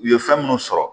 U ye fɛn minnu sɔrɔ